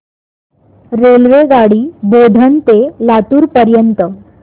रेल्वेगाडी बोधन ते लातूर पर्यंत